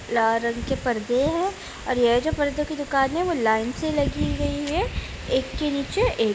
लाल रंग के पर्दे हैं और ये जो परदे की दुकान है वो लाईन से लगी हुई है एक के नीचे एक ।